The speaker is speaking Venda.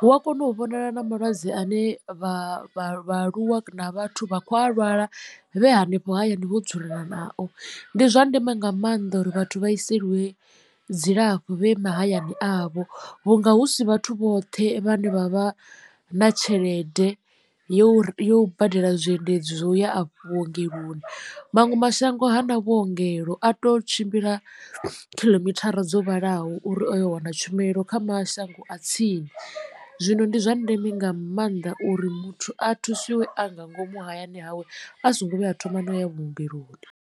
hu a kona u vhonala na malwadze ane vha vha vhaaluwa na vhathu vha kho a lwala vhe hanefho hayani vho dzula nao. Ndi zwa ndeme nga maanḓa uri vhathu vha ḓiseliwe dzilafho vhe mahayani avho vhunga hu si vhathu vhoṱhe vhane vha vha na tshelede yo yo badela zwiendedzi zwo ya a fho vhuongeloni. Maṅwe mashango ha na vhuongelo a to tshimbila khiḽomithara dzo vhalaho uri a yo wana tshumelo kha mashango a tsini zwino ndi zwa ndeme nga maanḓa uri muthu a thusiwe a nga ngomu hayani hawe a songo vhuya a thoma no ya vhuongeloni.